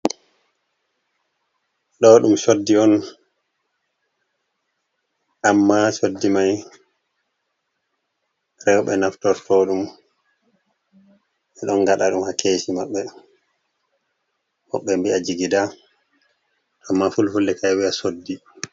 Ɗo ɗum soddi on, amma soddi mai rewɓe naftorto ɗum, ɓeɗon gaɗa ɗum ha kesi maɓɓe, ko ɓe mbiya jigida amma fulfulde ka ɗo viya soddi.